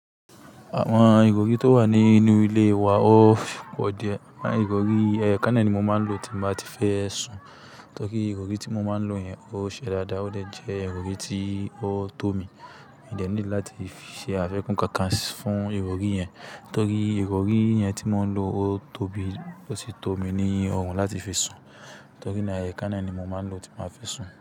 Àwọn ìrọ̀rí tó wà nínú ilé wa ó fi pọ dẹ. Àwọn ìrọ̀rí, ẹ̀yo kan náà ni mo máa ń lò tí mbá ti fẹ́ sùn. Nítorí ìrọ̀rí tí mo máa ń lò yẹn ó ṣe dáadáa, ó jẹ́ ìrọ̀rí tí ó tó mi. Mi ò dẹ níidi láti ṣe àfikún kankan fún ìrọ̀rí yẹn, nítorí ìrọ̀rí yẹn tí mò ń lò ó tóbi ó sì tó mi ní ọrùn láti fi sùn. Nítorí náà ẹ̀yà kan náà ni mo máa ń lò tí màá fẹ́ sùn.